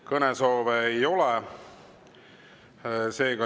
Kõnesoove ei ole.